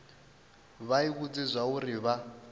vha i vhudze zwauri vha